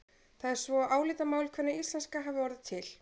Það er svo álitamál hvenær íslenska hafi orðið til.